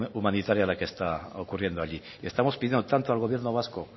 humanitaria la que está ocurriendo allí le estamos pidiendo tanto al gobierno vasco